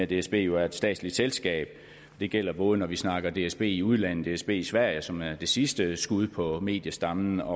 dsb jo er et statsligt selskab det gælder både når vi snakker om dsb i udlandet herunder dsb i sverige som er det sidste skud på mediestammen og